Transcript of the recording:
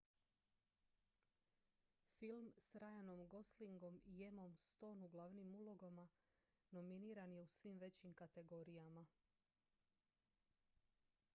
film s ryanom goslingom i emmom stone u glavnim ulogama nominiran je u svim većim kategorijama